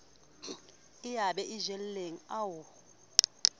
eo ba e jeleng ao